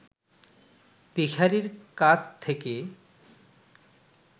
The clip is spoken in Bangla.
ভিখারির কাছ থেকে